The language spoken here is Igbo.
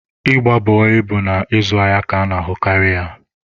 Ịgba bọị bụ na ịzụ ahịa ka a na-ahụkarị ya.